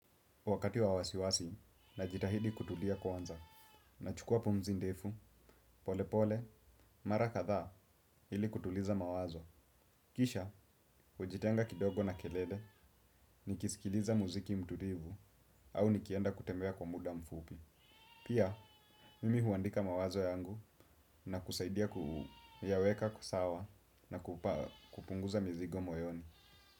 Wakati wa wasiwasi, najitahidi kutulia kwanza. Nachukua pumzi ndefu, pole pole, mara kadhaa ili kutuliza mawazo. Kisha, ujitenga kidogo na kelele nikisikiliza muziki mtulivu au nikienda kutembea kwa muda mfupi. Pia, mimi huandika mawazo yangu na kusaidia kuyaweka kusawa na kupunguza mizigo moyoni.